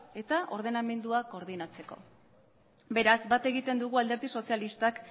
eta ordenamendua koordinatzeko beraz bat egiten dugu alderdi sozialistak